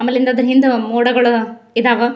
ಆಮೇಲೆ ಹಿಂದ ಅದ್ರ ಹಿಂದ್ ಮೋಡಗಳ್ ಇದಾವ್.